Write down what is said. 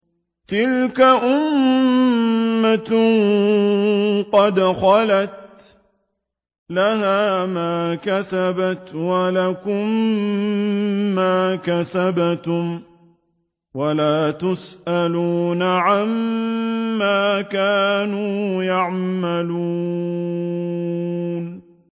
تِلْكَ أُمَّةٌ قَدْ خَلَتْ ۖ لَهَا مَا كَسَبَتْ وَلَكُم مَّا كَسَبْتُمْ ۖ وَلَا تُسْأَلُونَ عَمَّا كَانُوا يَعْمَلُونَ